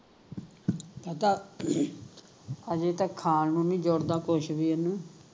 ਆਹ ਤਾਂ ਹਜੇ ਤਾਂ ਖਾਣ ਨੂੰ ਨਹੀਂ ਜੁੜਦਾ ਕੁਸ਼ ਵੀ ਇਹਨੂੰ